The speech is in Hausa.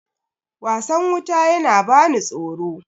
wasan wuta yana bani tsoro